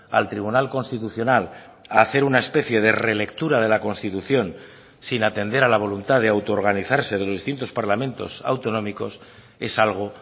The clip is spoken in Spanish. al tribunal constitucional a hacer una especie de relectura de la constitución sin atender a la voluntad de autoorganizarse de los distintos parlamentos autonómicos es algo